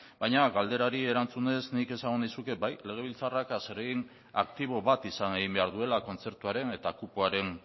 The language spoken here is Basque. baina galderari erantzunez nik esango nizuke bai legebiltzarrak zeregin aktibo bat izan egin behar duela kontzertuaren eta kupoaren